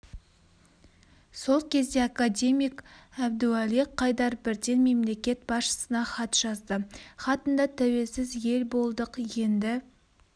сол кезде академик әбдіуали қайдар бірден мемлекет басшысына хат жазды хатында тәуелсіз ел болдық енді